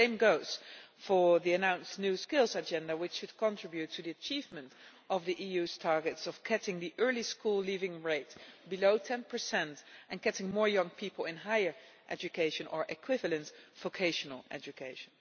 The same goes for the announced new skills agenda which should contribute to the achievement of the EU's targets of cutting the early school leaving rate to below 10 and getting more young people into higher education or equivalent vocational education.